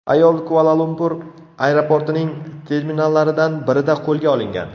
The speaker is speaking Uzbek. Ayol Kuala-Lumpur aeroportining terminallaridan birida qo‘lga olingan.